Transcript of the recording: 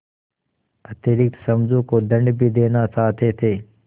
अतिरिक्त समझू को दंड भी देना चाहते थे